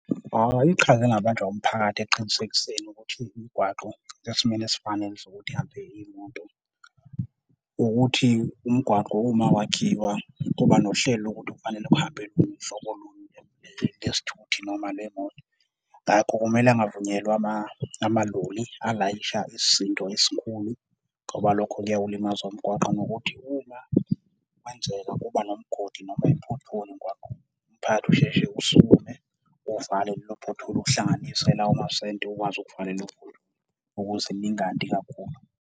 Iqhaza elingabanjwa umphakathi ekuqinisekiseni ukuthi imigwaqo isesimeni esifanele sokuthi ihambe iymoto ukuthi, umgwaqo uma wakhiwa kuba nohlelo lokuthi kufanele uhambe hlobo luni lezithuthi noma lemoto. Ngakho kumele kungavunyelwa ama amaloli alayisha isisindo esikhulu, ngoba lokho kuyawulimaza umgwaqo. Nokuthi uma kwenzeka kuba nomgodi noma i-pothole emgwaqeni, umphakathi usheshe usukume uvale lelo pothole, uhlanganise lawo masenti ukwazi ukuvala lelo pothole ukuze lingandi kakhulu.